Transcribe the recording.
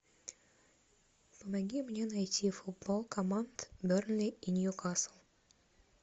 помоги мне найти футбол команд бернли и ньюкасл